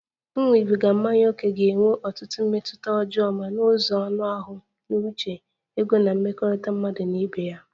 Ịṅụbiga mmanya ókè ga-enwe ọtụtụ mmetụta ọjọọ ma n'ụzọ anụ ahụ, n'uche, ego na mmekọrịta mmadụ na ibe ya